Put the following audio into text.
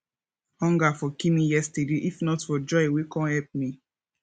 hunger for kill me yesterday if not for joy wey come help me